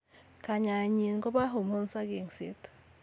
Kayaenyin ko kopo hormones ak yengset.